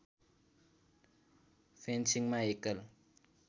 फेन्सिङमा एकल